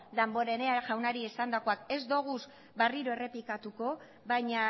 damborenea jaunari esandakoak ez ditugu berriro errepikatuko baina